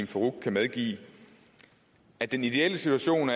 farooq kan medgive at den ideelle situation